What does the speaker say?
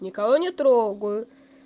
никого не трогаю